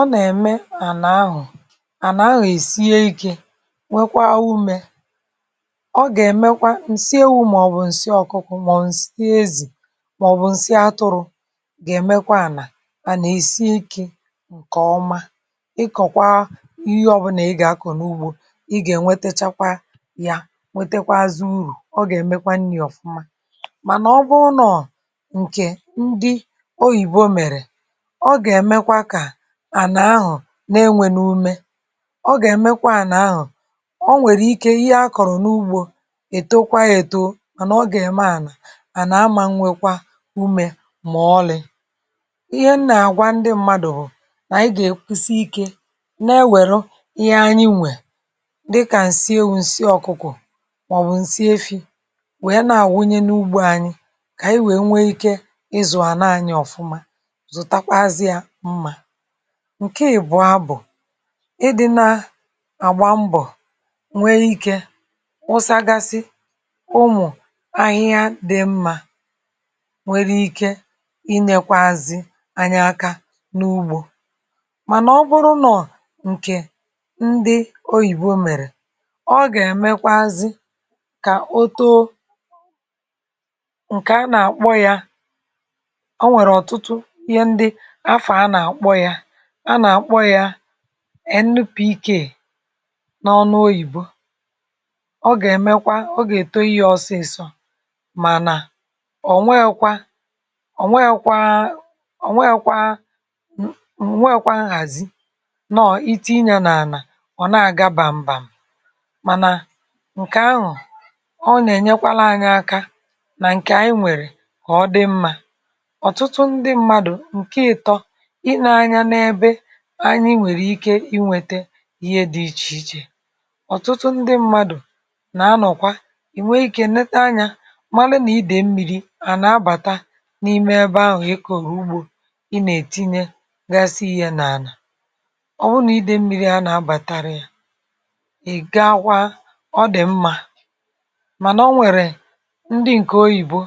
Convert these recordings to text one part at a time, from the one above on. ọ nà-ème ànà ahụ̀, ànà ahụ̀ èsie ikė nwekwaa umė, ọ gà-èmekwa ǹsị ewu,̇ màọ̀bụ̀ ǹsị ọ̀kụkụ̀, màọ̀bụ̀ ǹsị ezì, màọ̀bụ̀ ǹsị atụrụ̇ gà-èmekwa ànà, ànà èsie ikė ǹkè ọma. ịkọ̀kwa ihe ọbụlà ị gà-akọ̀ n’ugbȯ ị gà-ènwetachakwa ya nwetekwazụ urù. ọ gà-èmekwa nni̇ ọ̀fụma. Mànà ọ bụrụ nọ ǹkè ndị oyìbo mèrè, ọ gà-èmekwa kà ànà ahụ na-enwè n’ume. ọ gà-èmekwa ànà ahụ̀, ọ nwèrè ike ihe akọ̀rọ̀ n’ugbȯ ètokwa èto mànà ọ gà-ème ànà, ànà amȧ nwekwa umė mà ọlị.̇ ihe m nà-àgwa ndị mmadụ̀ hụ̀, nà anyị gà-èkwusi ikė na-ewèru ihe anyị nwè dịkà, ǹsị ewu,̇ ǹsị ọ̀kụkụ, màọ̀bụ̀ ǹsị efi,̇ wèe na-àwunye n’ugbȯ anyị, kà ànyị wèe nwee ike ịzụ̀ ànà anyị ọ̀fụma.m, zutakwazie nmȧ. Nke ị̀bụọ bụ̀, ịdịna àgba mbọ̀ nwee ikė wụsagasị ụmụ̀ ahịhịa dị̇ mmȧ nwere ike inekwaazị anya aka n’ugbȯ. Mànà ọ bụrụnụ ǹkè ndị oyìbo mèrè, ọ gà-èmekwazi kà o too ǹkè a nà-àkpọ ya, o nwèrè ọtụtu ìhe ǹdi afọ ànà akpo yà. Anà-àkpọ ya NPK n’ọnụ oyìbo. ọ gà-èmekwa, ọ gà-èto iyė ọsịsọ. Mànà o nwekwa, o nwekwa a, o nwekwa nu, o nwẹkwa nhàzi, nọọ̀ itinya nà ànà ọ̀ nà àga bàm̀bàm̀, mànà ǹkè ahụ̀, ọ nà ẹ̀nyẹkwara anyị aka, nà ǹkè anyị nwẹ̀rẹ̀ kà ọ dị mmȧ. Ọtụtu ǹdi mmadụ, nkè itọ, ị nȧ-anya n’ebe anyị nwèrè ike ịnwėtė ihe dị ichè ichè. ọ̀tụtụ ndị mmadụ̀ nà-anọ̀kwa ì nwee ikė nete anyȧ malụ nà ịdè mmi̇ri̇ ànà abàta n’ime ebe ahụ̀ ịkòrụ ugbȯ, ị nà-ètinye gasi ihė nà ànà. ọ wụ nà ịdè mmiri̇ a nà-abàtira yȧ, ị̀ gaa akwa ọ dị̀ mmȧ, mànà o nwèrè ndị ǹkè oyìbo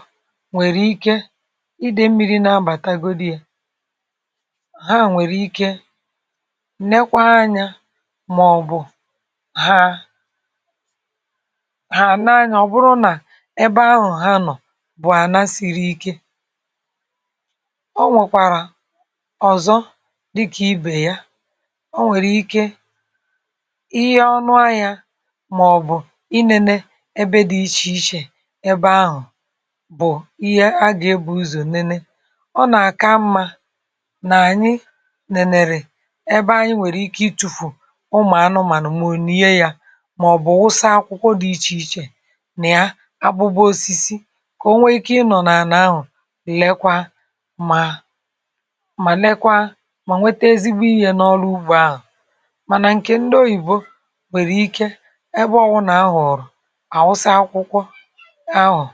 nwèrè ike ịdè mmiri̇ na-abàtagodu yȧ, ha nwèrè ikė nekwa anyȧ. Màọ̀bụ̀ ha, hà nee anya ọ bụrụ nà ebe ahụ̀ ha nọ̀ bụ àna siri ike. O nwèkwàrà ọ̀zọ dịkà ibè ya, o nwèrè ikė ihe ọnụ ahiȧ màọ̀bụ̀ i nėnė ebe dị̇ ichè ichè ebe ahụ̀ bụ̀ ihe a gà-ebu ụzọ̀ nene. O nà-àka nmȧ na-anyi nèlèrè ebe anyị nwèrè ike itùfù ụmụ̀ anụmȧnụ màọ̀ lie yà. Mà ọ̀ bụ̀ wụsa akwụkwọ dị̇ ichè ichè nà ya abụbụ osisi kà o nwee ike ịnọ̀ nà ànà ahụ̀ lekwa mà mà lekwa mà nwete ezigbo iyė n’ọlụ ugbȯ ahụ̀ Mànà ǹkè ndị oyìbo nwèrè ike, ebe ọ̀ bụ nà ahụ̀rụ̀, àwụsa akwụkwọ ahụ̀.